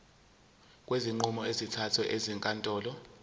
kwezinqumo ezithathwe ezinkantolo